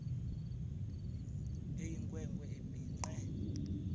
eyinkwe nkwe ebhinqe